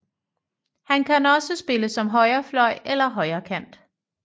Han kan også spille som højrefløj eller højrekant